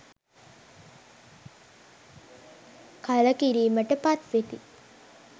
කලකිරීමට පත්වෙති.